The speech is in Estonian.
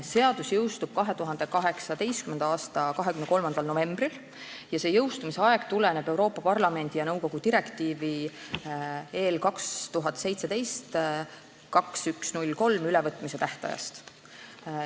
Seadus jõustub 2018. aasta 23. novembril ja see jõustumise aeg tuleneb Euroopa Parlamendi ja nõukogu direktiivi 2017/2103 ülevõtmise tähtajast.